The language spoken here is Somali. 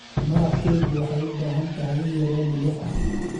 Maraqkeygu waxay u baahan tahay in yar oo milix ah.